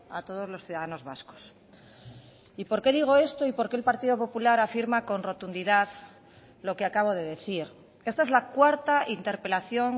a todos los ciudadanos vascos y por qué digo esto y por qué el partido popular afirma con rotundidad lo que acabo de decir esta es la cuarta interpelación